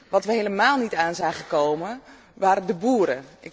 Wat we helemaal niet aan zagen komen, waren de boeren.